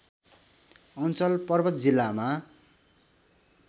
अञ्चल पर्वत जिल्लामा